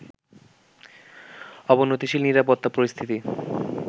অবনতিশীল নিরাপত্তা পরিস্থিতি